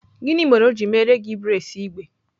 Gịnị mere o ji meere gị braids igbe?